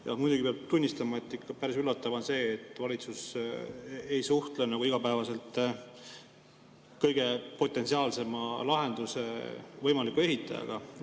Ja muidugi peab tunnistama, et ikka päris üllatav on see, et valitsus ei suhtle igapäevaselt kõige potentsiaalsema lahenduse võimaliku ehitajaga.